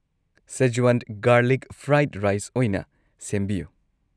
Szechuan garlic fried rice ꯑꯣꯏꯅ ꯁꯦꯝꯕꯤꯌꯨ꯫